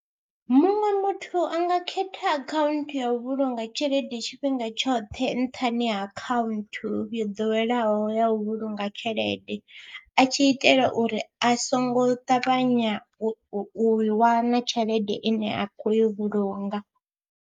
Muṅwe muthu a nga khetha akhaunthu ya u vhulunga tshelede tshifhinga tshoṱhe nṱhani ha akhaunthu yo ḓoweleaho ya u vhulunga tshelede, a tshi itela uri a songo ṱavhanya u u i wana tshelede ine a khou i vhulunga.